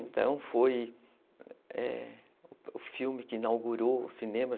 Então foi , é, o filme que inaugurou o cinema.